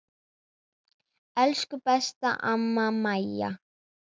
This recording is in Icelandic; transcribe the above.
Elsku besta amma Maja.